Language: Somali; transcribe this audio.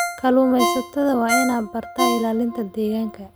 Kalluumeysatada waa inay bartaan ilaalinta deegaanka.